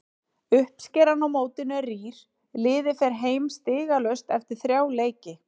Uppskeran á mótinu er rýr, liðið fer heim stigalaust eftir þrjá leiki.